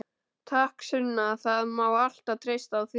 Takk Sunna, það má alltaf treysta á þig.